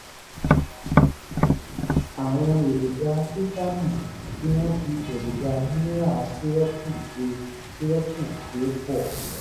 àwọn èròjà fítámì tí wọ́n fi èròjà mineral sírópù ṣe sírópù ṣe pọ̀